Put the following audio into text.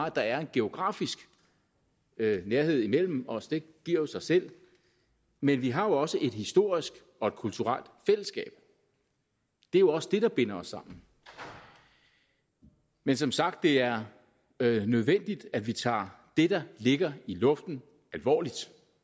at der er en geografisk nærhed imellem os det giver jo sig selv men vi har også et historisk og kulturelt fællesskab det er jo også det der binder os sammen men som sagt er det nødvendigt at vi tager det der ligger i luften alvorligt